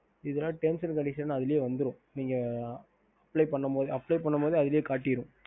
ஹம் ஹம்